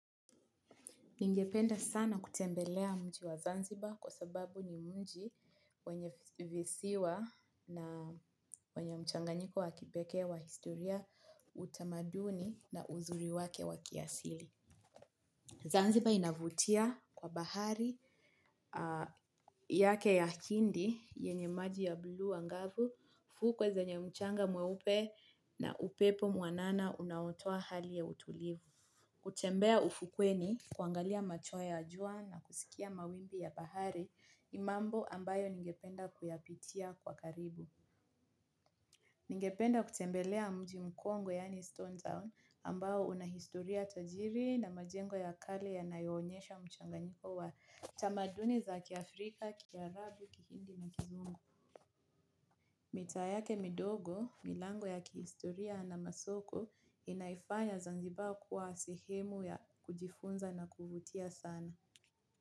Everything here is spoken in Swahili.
Ningependa sana kutembelea mji wa Zanzibar kwa sababu ni mji wenye visiwa na wenye mchanganyiko wa kipekee wa historia utamaduni na uzuri wake wa kiasili. Zanzibar inavutia kwa bahari yake ya hindi yenye maji ya buluu angavu fuko zenye mchanga mweupe na upepo mwanana unaotoa hali ya utulivu kutembea ufukweni kuangalia machweo ya jua na kusikia mawimbi ya bahari ni mambo ambayo ningependa kuyapitia kwa karibu. Ningependa kutembelea mji mkongo yaani Stone Town ambayo una historia tajiri na majengo ya kale yanayoonyesha mchanganyiko wa tamaduni za kiafrika, kiarabu, kihindi na kizungu. Mita yake midogo, milango ya kihistoria na masoko inaifanya zanzibar kuwa sehemu ya kujifunza na kuvutia sana.